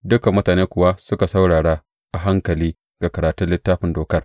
Dukan mutane kuwa suka saurara a hankali ga karatun Littafin Dokar.